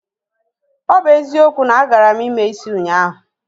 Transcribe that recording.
O bu ezikwo, na agaram ime isi ụnyahụ